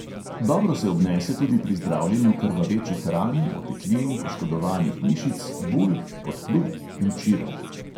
Dobro se obnese tudi pri zdravljenju krvavečih ran, oteklin, poškodovanih mišic, bul, podplutb in čirov.